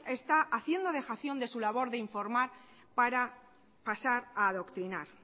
está haciendo dejación de su labor de informar para pasar a adoctrinar